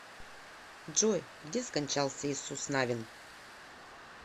джой где скончался иисус навин